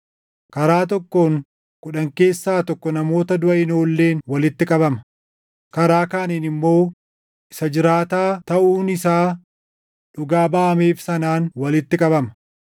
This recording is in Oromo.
Karaa tokkoon kudhan keessaa tokko namoota duʼa hin oolleen walitti qabama; karaa kaaniin immoo isa jiraataa taʼuun isaa dhugaa baʼameef sanaan walitti qabama.